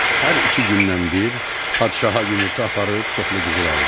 Hər iki gündən bir padşaha yumurta aparıb çoxlu qızıl aldı.